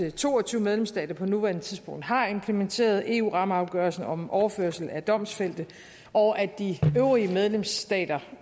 at to og tyve medlemsstater på nuværende tidspunkt har implementeret eu rammeafgørelsen om overførsel af domfældte og at de øvrige medlemsstater